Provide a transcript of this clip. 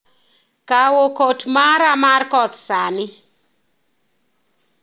Kawo kot mara mar koth sani